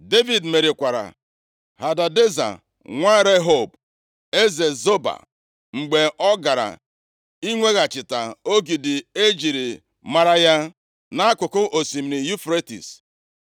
Devid merikwara Hadadeza nwa Rehob, eze Zoba. Mgbe ọ gara inweghachita ogidi e jiri mara ya, nʼakụkụ osimiri Yufretis.